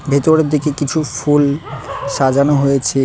ভেতরের দিকে কিছু ফুল সাজানো হয়েছে।